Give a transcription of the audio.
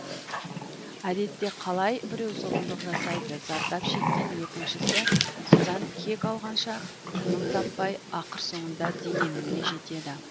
әдетте қалай біреу зұлымдық жасайды зардап шеккен екіншісі содан кек алғанша тыным таппай ақыр соңында дегеніне жетеді